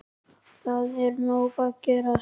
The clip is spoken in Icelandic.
Það er nóg að gerast.